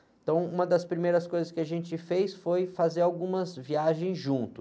Então, uma das primeiras coisas que a gente fez foi fazer algumas viagens juntos.